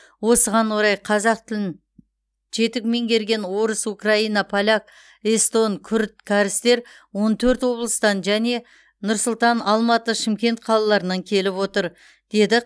осыған орай қазақ тілін жетік меңгерген орыс украин поляк эстон күрд кәрістер он төрт облыстан және нұр сұлтан алматы шымкент қалаларынан келіп отыр деді